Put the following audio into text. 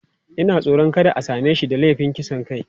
Ina tsoron kada a same shi da laifin kisan kai.